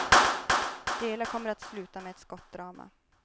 Det hela kommer att sluta med ett skottdrama.